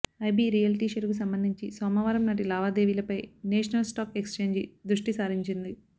IB realty షేరుకు సంబంధించి సోమవారంనాటి లావాదేవీలపై నేషనల్ స్టాక్ ఎక్స్ఛేంజీ దృష్టిసారించింది